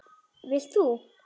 Vilt þú?